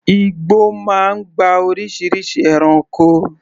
Igbó máa ń gba oríṣiríṣi ẹranko.